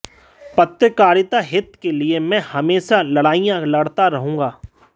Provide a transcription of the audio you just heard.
पत्रकारिता हित के लिए मैं हमेशा लड़ाइयां लड़ता रहूँगा